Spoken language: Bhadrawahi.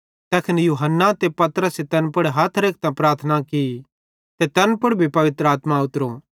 तैखन यूहन्ना ते पतरसे तैन पुड़ हथ रेखतां प्रार्थना की ते तैन भी पवित्र आत्मा उतरी